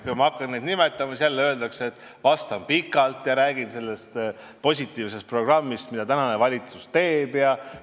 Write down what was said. Kui ma hakkan neid nimetama, siis öeldakse jälle, et vastab pikalt ja räägib sellest positiivsest programmist, mida tänane valitsus teeb ja ...